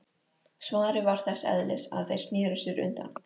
Svarið var þess eðlis að þeir sneru sér undan.